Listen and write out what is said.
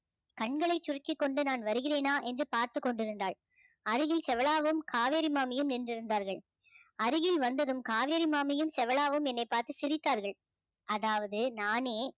கண்களை சுருக்கிக்கொண்டு நான் வருகிறேனா என்று பார்த்துக் கொண்டிருந்தாள் அருகில் செவளாவும் காவேரி மாமியும் நின்றிருந்தார்கள் அருகில் வந்ததும் காவேரி மாமியும் செவளாவும் என்னை பார்த்து சிரித்தார்கள் அதாவது நானே